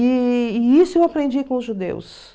E e isso eu aprendi com os judeus.